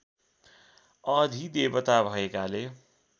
अधिदेवता भएकाले